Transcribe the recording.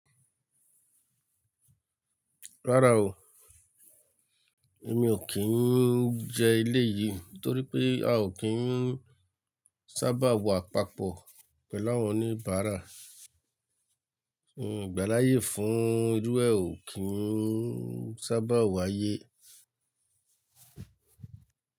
Rárá o, èmi ò kí ń jẹ eléyìí torí pé a ò kí ń sábà wà àpapọ̀ pẹ̀lú àwọn oníbàárà. Igbáláyé fún irú è ò kí ń sábà wa ayé.